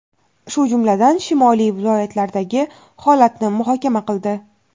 shu jumladan shimoliy viloyatlaridagi holatni muhokama qildi.